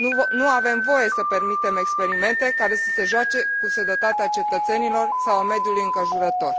Nu avem voie să permitem experimente care să se joace cu sănătatea cetățenilor sau a mediului înconjurător.